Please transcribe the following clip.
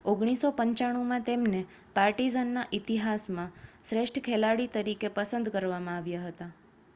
1995માં તેમને પાર્ટિઝનના ઇતિહાસમાં શ્રેષ્ઠ ખેલાડી તરીકે પસંદ કરવામાં આવ્યા હતા